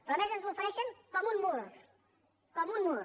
però a més ens l’ofereixen com un mur com un mur